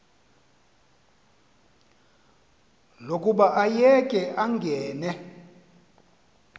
lokuba ayeke angene